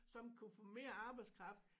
Som kunne få mere arbejdskraft